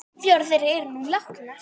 Fjórar þeirra eru nú látnar.